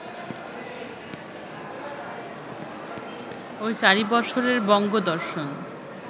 ঐ চারি বৎসরের বঙ্গদর্শন